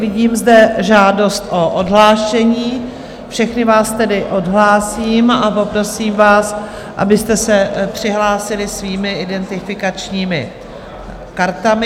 Vidím zde žádost o odhlášení, všechny vás tedy odhlásím a poprosím vás, abyste se přihlásili svými identifikačními kartami.